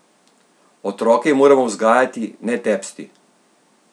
Otroke moramo vzgajati, ne tepsti!